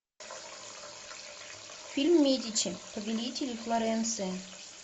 фильм медичи повелители флоренции